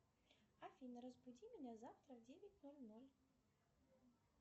афина разбуди меня завтра в девять ноль ноль